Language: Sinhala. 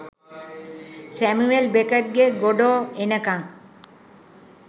සැමුවෙල් බෙකට්ගේ "ගොඩෝ එනකං"